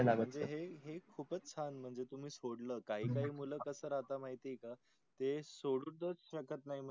म्हणजे हे हे खूपच छान म्हणजे तुम्ही सोडल काही काही मुल कस राहता माहित आहे का ते सोडूच शकत नाही.